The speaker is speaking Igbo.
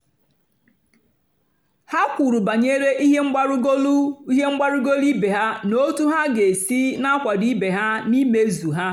ha kwùrù bànyèrè ihe mgbarúgọ́lù ihe mgbarúgọ́lù ìbè ha na otú ha ga-èsì na-àkwàdò ìbè ha n’ìmèzù ha.